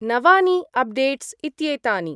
नवानि updates इत्येतानि।